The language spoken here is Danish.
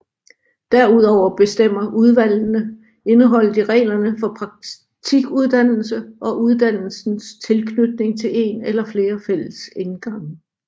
Derudover bestemmer udvalgene indholdet i reglerne for praktikuddannelsen og uddannelsens tilknytning til en eller flere fællesindgange